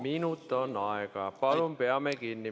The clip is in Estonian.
Minut on aega, palun peame sellest kinni.